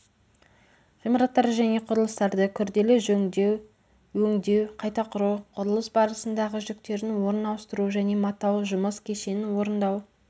ғимараттарды және құрылыстарды күрделі жөндеу өңдеу қайта құру құрылыс барысындағы жүктердің орнын ауыстыру және матау жұмыс кешенін орындау